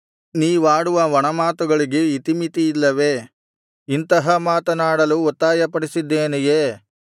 ನೀವಾಡುವ ಒಣಮಾತುಗಳಿಗೆ ಇತಿಮಿತಿ ಇಲ್ಲವೇ ಇಂತಹ ಮಾತನಾಡಲು ಒತ್ತಾಯಪಡಿಸಿದ್ದೇನೆಯೇ